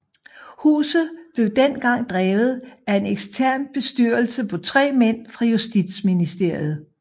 Huset blev dengang drevet af en ekstern bestyrelse på 3 mænd fra Justitsministeriet